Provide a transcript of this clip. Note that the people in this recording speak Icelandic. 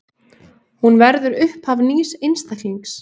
Hún verður upphaf nýs einstaklings.